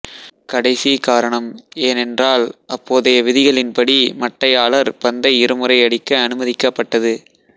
கடைசி காரணம் ஏனென்றால் அப்போதைய விதிகளின்படி மட்டையாளர் பந்தை இருமுறை அடிக்க அனுமதிக்கப்பட்டது